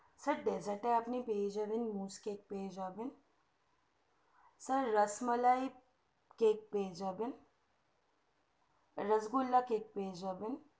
sir dessert টা আপনি পেয়ে যাবেন buche cake পেয়ে যাবেন sir রসমালাই কেক পেয়ে যাবেন রসগোল্লা কেক পেয়ে যাবেন